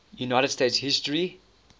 united states history